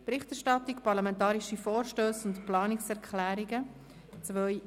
«Berichterstattung parlamentarische Vorstösse und Planungserklärungen 2017».